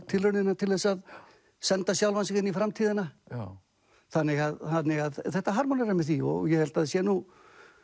tilraunina til þess að senda sjálfan sig inn í framtíðina þannig að þetta harmonerar með því og ég held að það sé nú